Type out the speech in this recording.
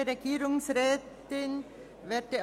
Der Regierungsrat beantragt: Ablehnung